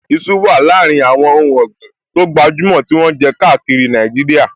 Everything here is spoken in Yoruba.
Iṣu wà láàrin àwọn ohùn ọ̀gbìn tó gbajúmọ̀ tí wọ́n jẹ káàkiri Nàìjíríà